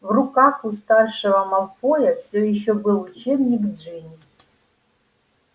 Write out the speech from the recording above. в руках у старшего малфоя всё ещё был учебник джинни